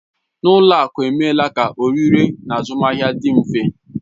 N'ụlọ akụ emeela ka oririe na azụmahịa dị mfe.